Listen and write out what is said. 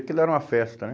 Aquilo era uma festa, né?